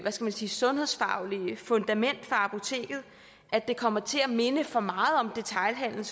man sige sundhedsfaglige fundament for apoteket at det kommer til at minde for meget om detailhandel